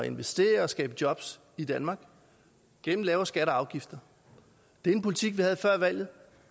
investere og skabe jobs i danmark gennem lavere skatter og afgifter det er en politik vi havde før valget